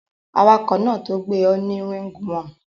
Awakò náà to gbé o ni ringworm